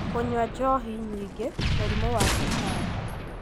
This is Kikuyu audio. kũnyua njohi nyingĩ, mũrimũ wa cukari,